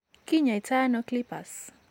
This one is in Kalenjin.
Kiny'aayto nano CLIPPERS?